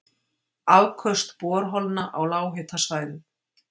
Afköst borholna á lághitasvæðum